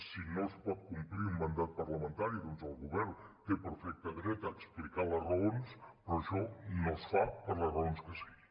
si no es pot complir un mandat parlamentari doncs el govern té perfecte dret a explicar les raons però això no es fa per les raons que sigui